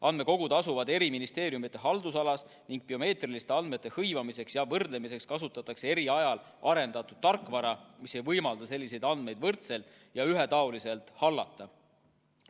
Andmekogud asuvad eri ministeeriumide haldusalas ning biomeetriliste andmete hõivamiseks ja võrdlemiseks kasutatakse eri ajal arendatud tarkvara, mis ei võimalda selliseid andmeid võrdselt ja ühetaoliselt hallata.